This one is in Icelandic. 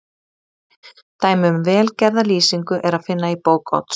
Dæmi um vel gerða lýsingu er að finna í bók Odds